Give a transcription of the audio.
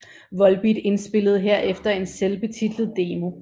Volbeat indspillede herefter en selvbetitlet demo